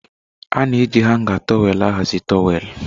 A na eji hangà tọwelụ ahazi towelụ.